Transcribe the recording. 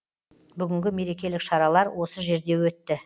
бүгінгі мерекелік шаралар осы жерде өтті